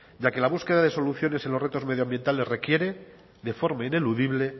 ya que la búsqueda de soluciones en los retos medioambientales requiere de forma ineludible